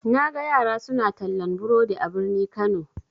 Naga yara suna tallan burodi a birni kano.